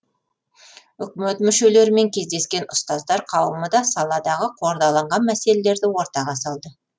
үкімет мүшелерімен кездескен ұстаздар қауымы да саладағы қордаланған мәселелерді ортаға салды